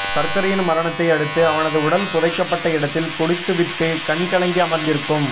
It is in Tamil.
சக்கரையின் மரணத்தை அடுத்து அவனது உடல் புதைக்கப் பட்ட இடத்தில் குடித்து விட்டுக் கண் கலங்கி அமர்ந்திருக்கும்